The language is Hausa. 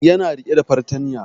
Ya na rike da fartanya